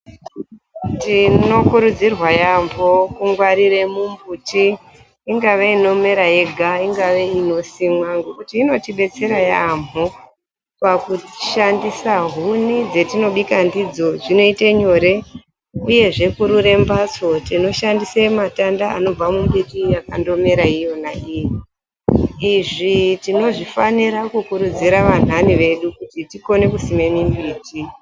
Tinokurudzirwa yaambo kungwarira mumbuti. Ingave inomera yega , ingave inosimwa ngekuti inotibetsera yaambo pakushandisa . Huni dzatinobika nadzo zvinoita nyore . Uyezve kurura mbatso ,tinoshandisa matanda anobva mumbiti yakandomera iyona iyi. Izvi tinozvikurudzira vanthani vedu kuti tikone kusima mumbuti.